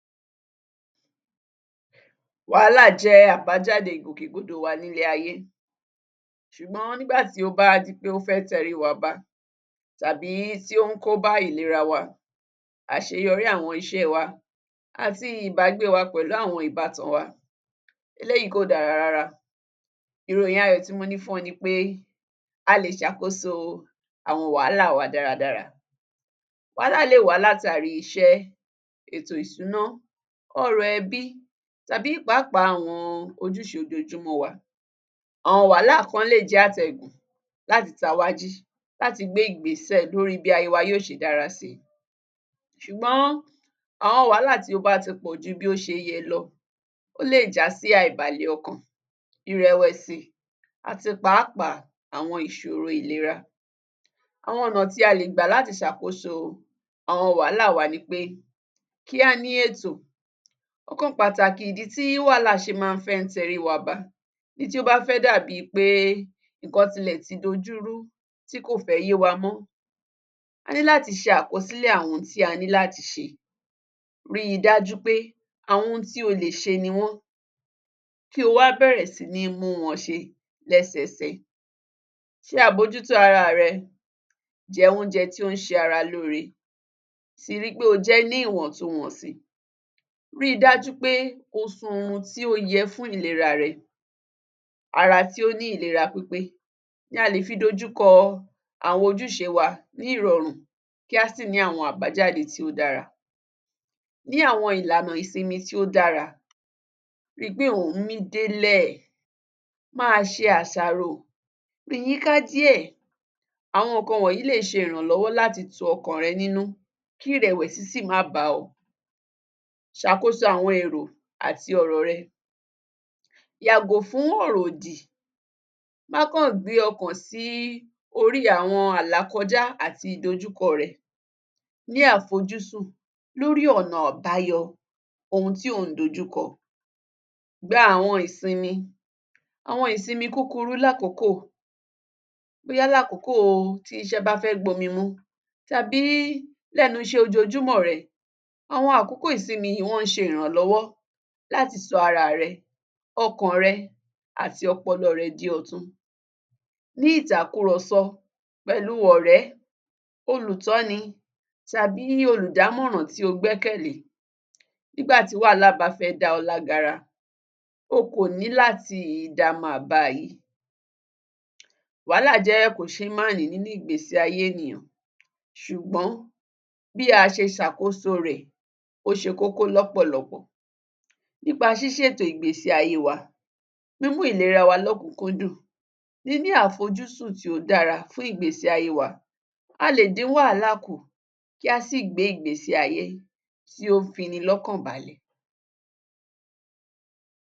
Wàhálà jẹ́ àbájáde ìgbòkègbodò wa nílé ayé ṣùgbọ́n nígbà tí ó bá di pé o fẹ́ tẹríi wa ba tàbí tí ón kóbá ìlera wa, àṣeyọrí àwọn iṣẹ́ẹ wa àti ìbágbéewa pẹ̀lú àwọn ìbátan wa eléyìí kò dára rárá. Ìròyìn ayọ̀ tí mo ní fún-un ni pé a lè ṣàkóso àwọn wàhálà wa dáradára. Wàhálà lè wá látàrí iṣẹ́, ètò-ìsúná, ọ̀rọ̀-ẹ̀bí tàbí pàápàá àwọn ojúṣe ojoojúmọ́ọ wa. Àwọn wàhálà kan lè jẹ́ àtẹ̀gùn láti ta wá jí láti gbé ìgbésẹ̀ lóríi bí ayée wa yóò ṣe dára sí ṣùgbọ́n àwọn wàhálà tí ó bá ti pọ̀ ju bí ó ṣe yẹ lọ, ó lè já sí àìbàlẹ ọkàn, ìrẹ̀wẹ̀sì àti pàápàá àwọn ìṣòrò ìlera. Àwọn ọ̀nà tí a lè gbà láti ṣàkósò àwọn wàhálà wa ni pé, kí a ní ètò. Ọ̀kan pàtàkì ìdí tí wàhálà ṣe má ń fẹ́ tẹríi wa ba èyí tí ó bá fẹ́ dàbíi pé nǹkan ti lẹ̀ ti dojúrú, tí kò fẹ́ yé wa mọ́, a ní láti ṣe àkọsílè àwọn ohun tí a ní láti ṣe, ríi dájú pé àwọn ohun tí o lè ṣe ni wọ́n, kí o wá bẹ̀rẹ̀ sí ní mú wọn ṣe lẹ́sẹsẹ. Ṣe àbójútó araà rẹ, jẹ oúnjẹ tón ṣe ara lóore, sì ri pé o jẹ ẹ́ ní ìwọ̀n tun wọ̀nsì. Ríi dájú pé o sun orun tí ó yẹ fún ìleraà rẹ, ara tí ó ní ìlera pípé ni a lè fi dojúkọ àwọn ojúṣee wa ní ìrọ̀run kí á sì ní àwọn àbájáde tí o dára. Ní àwọn ìlànà ìsinmi tí ó dára, ri pé ò ń mí délè, má a ṣe àṣàrò, rìn yíká díẹ̀. Àwọn nǹkan wọ̀nyí lè ṣe ìrànlọ́wọ́ láti tun ọkàn rẹ nínú kí ìrẹ̀wẹ̀sì sì má bá ọ. Ṣàkóso àwọn èrò àti ọ̀rọ̀ rẹ, yàgò fún ọ̀rọ̀ ọ̀dì, má kaǹ gbé ọkàn sí orí àwọn àlàkọjá àti ìdojúkọọ̀ rẹ, ní àfojúsùn lórí ọ̀nà àbáyọ ohun tí ò ń dojúkọ. Gba àwọn ìsinmi, àwọn ìsinmi kúkurú lákòókò, bóyá lákòókòo tí iṣẹ́ bá fẹ́ gbomi mu tàbí lẹ́nu iṣẹ́ ojoojúmọ̀ọ̀ rẹ, àwọn àkókò ìsinmi yìí wọ́n ṣe ìrànlọ́wọ́ láti ṣo araà rẹ, ọkàn rẹ àti ọpọlọọ̀ rẹ di ọ̀tun. Ní ìtàkùrọ̀sọ́ pẹ̀lúu ọ̀rẹ́, olùtọ́ni tàbí olùdámọ̀ràn tí ó gbẹ́kẹ̀lé, nígbà tí wàhálà bá fẹ́ dá ọ lágara o kò ní láti dá má a báa yí. Wàhálà jẹ́ kòṣeémánìí nínú ìgbésí ayé ènìyàn ṣùgbọ́n bí a ṣe ṣàkóso rẹ̀ ó ṣe kókó lọ́pọ̀lọ́pọ̀. Nípa ṣíṣètò ìgbésí ayée wa, mímú ìlera wa lókùn-ún kúndùn, níní àfojúsùn tí ó dára fún ìgbésí ayée wa, a lè dín wàhálà kù kí a sì gbé ìgbésí ayé tí ó fini lọ́kàn balẹ̀.